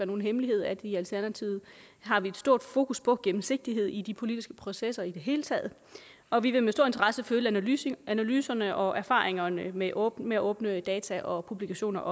nogen hemmelighed at vi i alternativet har et stort fokus på gennemsigtighed i de politiske processer i det hele taget og vi vil med stor interesse følge analyserne analyserne og erfaringerne med åbne åbne data og publikationer